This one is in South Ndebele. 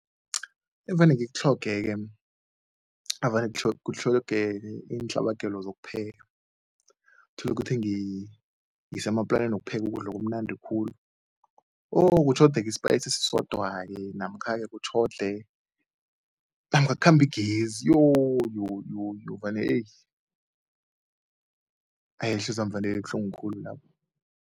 Evane ngikutlhoge-ke navane kutlhogeke iintlhabagelo zokupheka. Uthola ukuthi ngisemaplaneni wokupheka ukudla kamnandi khulu oh kutlhogeke i-spice esisodwa-ke namkha-ke kutjhode namkha kukhambe igezi yoh yoh yoh yoh vane ey hayi ihliziywami vane ibuhlungu khulu lapho.